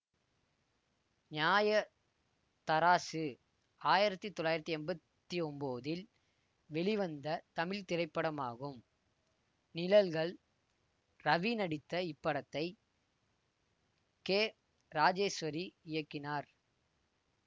நியாய தராசு ஆயிரத்தி தொள்ளாயிரத்தி எம்பத்தி ஒன்போதில் வெளிவந்த தமிழ் திரைப்படமாகும் நிழல்கள் ரவி நடித்த இப்படத்தை கே ராஜேஸ்வரி இயக்கினார்